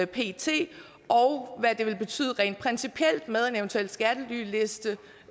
pt og hvad det vil betyde rent principielt med en eventuel skattelyliste